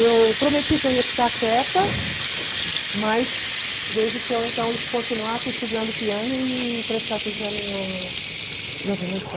Eu prometi que eu ia ficar quieta, mas desde que eu então continuasse estudando piano e prestasse exame no de admissão.